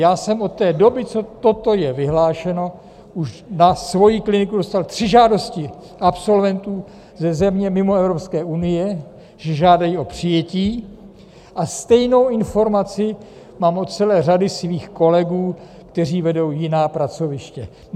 Já jsem od té doby, co toto je vyhlášeno, už na svoji kliniku dostal tři žádosti absolventů ze země mimo Evropské unie, že žádají o přijetí, a stejnou informaci mám od celé řady svých kolegů, kteří vedou jiná pracoviště.